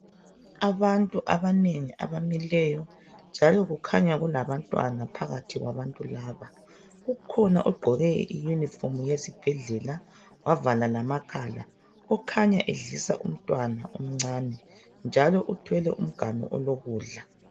Abantu abanengi abamileyo njalo kukhanya kulabantwana phakathi kwabantu laba. Kukhona ogqoke iyunifomu yesibhedlela wavala lamakhala okhanya edlisa umntwana omncane njalo uthwele umganu olokudla.